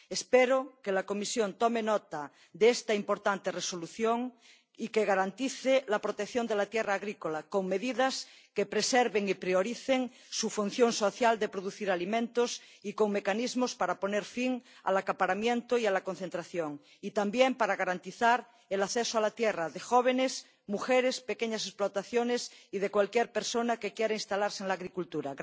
Espero que la Comisión tome nota de esta importante Resolución y que garantice la protección de la tierra agrícola con medidas que preserven y prioricen su función social de producir alimentos y con mecanismos para poner fin al acaparamiento y a la concentración así como para garantizar el acceso a la tierra de jóvenes, mujeres, pequeñas explotaciones y de cualquier persona que quiera instalarse en la agricultura.